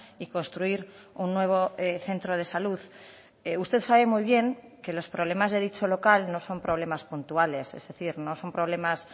y construir un nuevo centro de salud usted sabe muy bien que los problemas de dicho local no son problemas puntuales es decir no son problemas